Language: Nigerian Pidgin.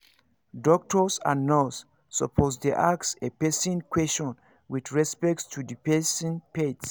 doctors and nurse supposed dey ask a person question with respect to the person faith